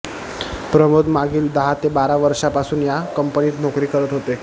प्रमोद मागील दहा ते बारा वर्षापासून या कंपनीत नोकरी करत होते